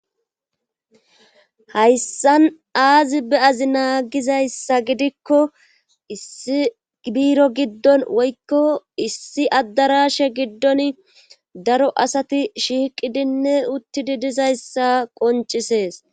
Hayssan aazi beazi naagizayssa gidikko issi biiro giddon woykko issi addarashe giddon daro asati shiiqidinne uttidi dizayssa qoncisees